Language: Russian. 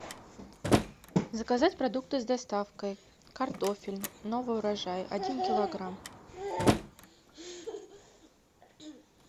заказать продукты с доставкой картофель новый урожай один килограмм